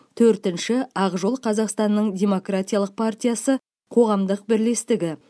төртінші ақ жол қазақстанның демократиялық партиясы қоғамдық бірлестігі